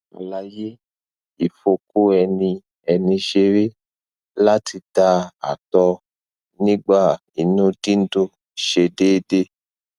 alaye ifoko eni eni sere lati da ato nigba inu dundun se deede